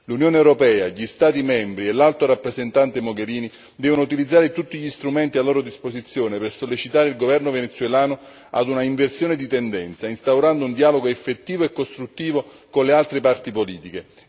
L'Unione europea, gli Stati membri e l'Alto rappresentante Mogherini devono utilizzare tutti gli strumenti a loro diposizione per sollecitare il governo venezuelano ad un'inversione di tendenza instaurando un dialogo effettivo e costruttivo con le altre parti politiche.